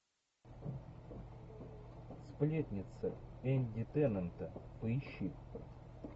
сплетница энди теннанта поищи